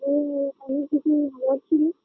ওই নিয়ে অনেক কিছু বলার